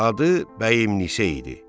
Adı Bəyimnisə idi.